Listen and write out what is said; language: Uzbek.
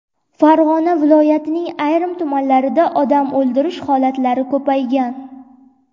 Farg‘ona viloyatining ayrim tumanlarida odam o‘ldirish holatlari ko‘paygan.